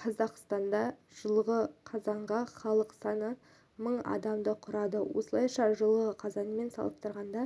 қазақстанда жылғы қазанға халық саны мың адамды құрады осылайша жылғы қазанмен салыстырғанда